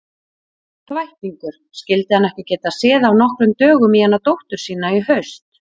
Þvættingur, skyldi hann ekki geta séð af nokkrum dögum í hana dóttur sína í haust.